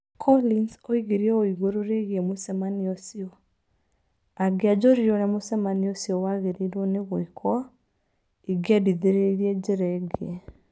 Collins oigire ũũ igũrũ rĩgiĩ mũcemanio ũcio: "Angĩanjũririe ũrĩa mũcemanio ũcio wagĩrĩirũo nĩ gwĩkwo, ingĩendithirie njĩra ĩngĩ".